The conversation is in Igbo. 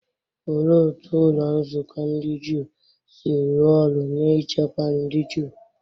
Olee otú ụlọ nzukọ ndị Juu si rụọ ọrụ n’ichekwa ndị Juu?